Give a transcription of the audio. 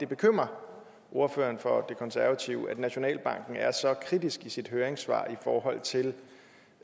bekymrer ordføreren for konservative at nationalbanken er så kritisk i sit høringssvar i forhold til